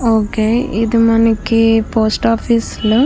okay ఒక ఇది మనకి పోస్ట్ ఆఫీసు లా --